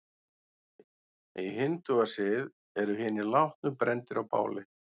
Í hindúasið eru hinir látnu brenndir á báli.